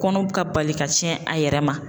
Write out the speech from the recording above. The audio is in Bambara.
Kɔnɔw ka bali ka tiɲɛn a yɛrɛ ma.